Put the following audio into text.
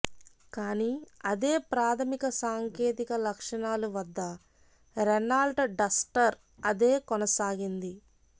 కానీ అదే ప్రాథమిక సాంకేతిక లక్షణాలు వద్ద రెనాల్ట్ డస్టర్ అదే కొనసాగింది